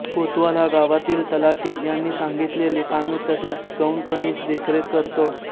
कोतवाल हा गावातील तलाठी यांनी सांगितलेली कामे तसेच गौणखनिज देखरेख करतो